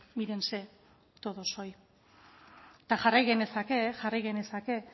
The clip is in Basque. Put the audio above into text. mírense todos hoy eta jarrai genezake jarrai genezake